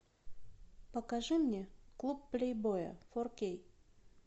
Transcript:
покажи мне клуб плейбоя фор кей